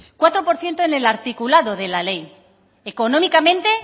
cuatro por ciento en el articulado de la ley económicamente